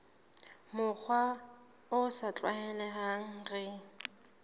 mokgwa o sa tlwaelehang re